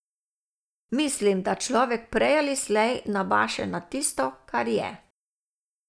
Mislim, da človek prej ali slej nabaše na tisto, kar je.